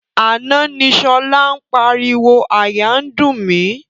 Àná ni sọlá ń pariwo "àyà ń dùn mí".